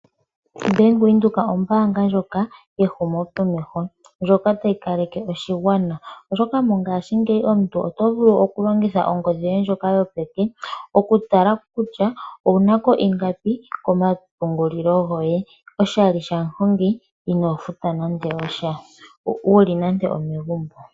Bank Windhoek ombaanga ndjoka yehumokomeho ndjoka tayi kaleke oshigwana, oshoka mongashingeyi omuntu oto vulu okulongitha ongodhi yoye ndjoka yopeke okutala kutya owuna ko ingapi komapungulilo goye oshali shamuhongi inoo futa nando osha, uli nande omegumbo.